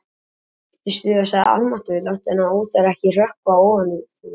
Amma kipptist við og sagði: Almáttugur, láttu þennan óþverra ekki hrökkva ofan í þig, maður